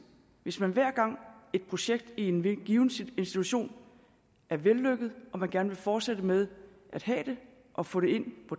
hvis man hver gang et projekt i en given institution er vellykket og man gerne vil fortsætte med at have det og få det ind i